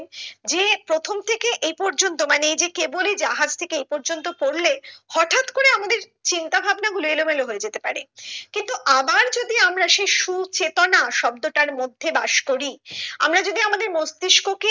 যে প্রথম থেকে এ পর্যন্ত মানে এই যে কেবলি যাহার থেকে এ পর্যন্ত পড়লে হটাৎ করে আমাদের চিন্তা ভাবনা গুলো এলোমেলো হয়ে যেতে পারে কিন্তু আবার যদি আমরা সেই সুচেতনা শব্দটার মধ্যে বাস করি আমরা যদি আমাদের মস্তিস্ক কে